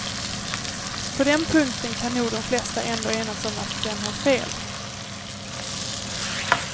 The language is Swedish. På den punkten kan nog de flesta ändå enas om att den har fel.